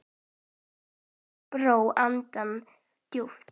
Thomas dró andann djúpt.